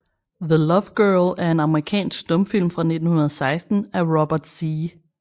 The Love Girl er en amerikansk stumfilm fra 1916 af Robert Z